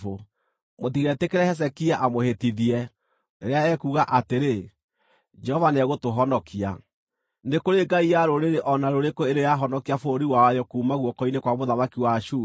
“Mũtigetĩkĩre Hezekia amũhĩtithie, rĩrĩa ekuuga atĩrĩ, ‘Jehova nĩegũtũhonokia.’ Nĩ kũrĩ ngai ya rũrĩrĩ o na rũrĩkũ ĩrĩ yahonokia bũrũri wayo kuuma guoko-inĩ kwa mũthamaki wa Ashuri?